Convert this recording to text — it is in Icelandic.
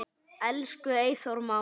Elsku Eyþór Máni.